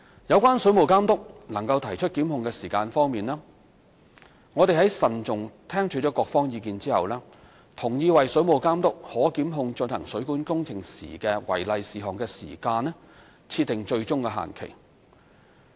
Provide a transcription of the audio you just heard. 有關水務監督能提出檢控的時限方面，我們在慎重聽取各方意見後，同意為水務監督可檢控進行水管工程時的違例事項的時間設定最終限期。